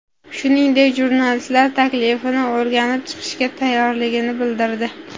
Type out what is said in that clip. Shuningdek, jurnalistlar taklifini o‘rganib chiqishga tayyorligini bildirdi.